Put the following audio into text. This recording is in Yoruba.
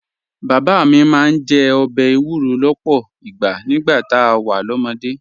Bàbá mi máa ń jẹ ọbẹ̀ èwúrọ̀ lọ́pọ̀ ìgbà nígbà tá a wà lọ́mọdé